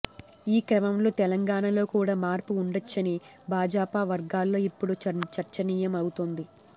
ఈ క్రమంలో తెలంగాణలో కూడా మార్పు ఉండొచ్చని భాజపా వర్గాల్లో ఇప్పుడు చర్చనీయం అవుతోంది